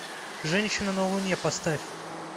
женщина на луне поставь